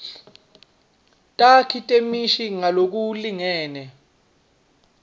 takhi temisho ngalokulingene